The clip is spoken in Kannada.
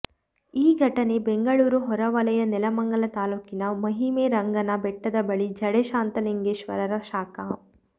ಈ ಘಟನೆ ಬೆಂಗಳೂರು ಹೊರವಲಯ ನೆಲಮಂಗಲ ತಾಲೂಕಿನ ಮಹಿಮೆ ರಂಗನ ಬೆಟ್ಟದ ಬಳಿಯ ಜಡೆ ಶಾಂತಲಿಂಗೇಶ್ವರರ ಶಾಖಾ